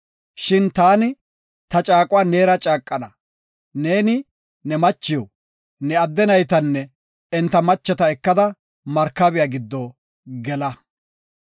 Shin taani ta caaquwa neera caaqana. Neeni, ne machiw, ne adde naytanne enta macheta ekada markabiya giddo gela.